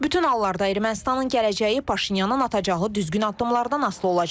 Bütün hallarda Ermənistanın gələcəyi Paşinyanın atacağı düzgün addımlardan asılı olacaq.